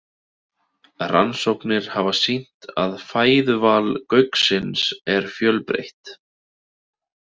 Rannsóknir hafa sýnt að fæðuval gauksins er fjölbreytt.